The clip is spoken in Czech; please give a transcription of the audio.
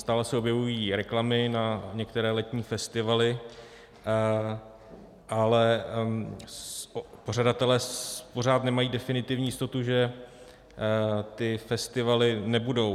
Stále se objevují reklamy na některé letní festivaly, ale pořadatelé pořád nemají definitivní jistotu, že ty festivaly nebudou.